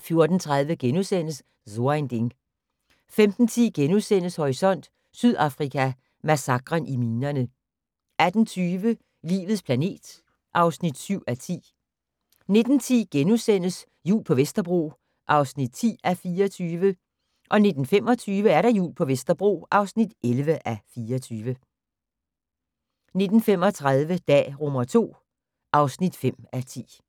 14:30: So ein Ding * 15:10: Horisont: Sydafrika: Massakren i minerne * 18:20: Livets planet (7:10) 19:10: Jul på Vesterbro (10:24)* 19:25: Jul på Vesterbro (11:24) 19:35: Dag II (5:10)